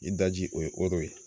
I daji o ye ye